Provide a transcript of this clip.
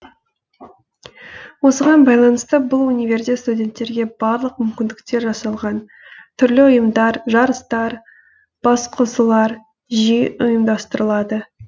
осыған байланысты бұл универде студенттерге барлық мүмкіндіктер жасалған түрлі ұйымдар жарыстар басқосулар жиі ұйымдастырылады